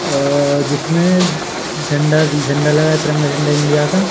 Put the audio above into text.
अह जिसमें झंडा झंडा लगा तिरंगा झंडा इंडिया का।